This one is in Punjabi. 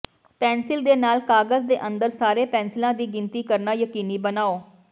ਪੈਨਸਿਲ ਦੇ ਨਾਲ ਕਾਗਜ਼ ਦੇ ਅੰਦਰ ਸਾਰੇ ਪੈਨਸਿਲਾਂ ਦੀ ਗਿਣਤੀ ਕਰਨਾ ਯਕੀਨੀ ਬਣਾਓ